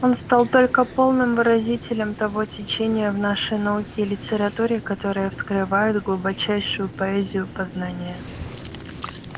он стал только полным выразителем того течения в нашей науке и литературе которое вскрывает глубочайшую поэзию познания